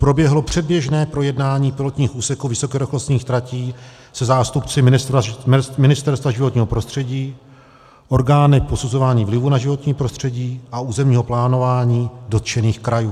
Proběhlo předběžné projednání pilotních úseků vysokorychlostních tratí se zástupci Ministerstva životního prostředí, orgány posuzování vlivu na životní prostředí a územního plánování dotčených krajů.